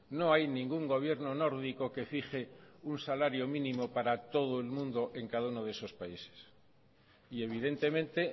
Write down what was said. no hay ningún gobierno nórdico que fije un salario mínimo para todo el mundo en cada uno de esos países y evidentemente